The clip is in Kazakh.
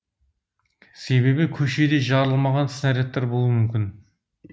себебі көшеде жарылмаған снарядтар болуы мүмкін